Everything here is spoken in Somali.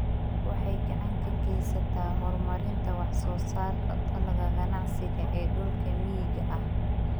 Waxay gacan ka geysataa horumarinta wax soo saarka dalagga ganacsiga ee dhulka miyiga ah.